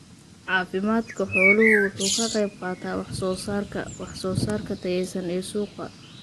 Caafimaadka xooluhu waxa uu ka qayb qaataa wax soo saarka wax soo saarka tayaysan ee suuqa.